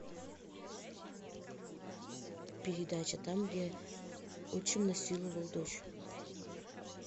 передача там где отчим насиловал дочь